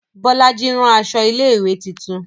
Bolaji rán aṣọ ilé ìwé titun